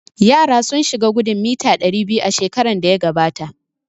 Yara sun shiga gudun mita ɗari biyu shekaran da ya gabata